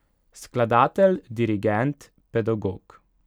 Skladatelj, dirigent, pedagog.